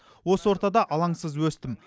осы ортада алансыз өстім